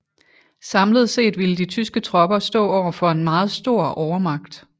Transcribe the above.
Samlet set ville de tyske tropper stå overfor en meget stor overmagt